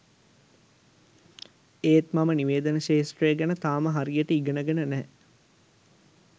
එත් මම නිවේදන ක්ෂේත්‍රය ගැන තාම හරියට ඉගෙනගෙන නෑ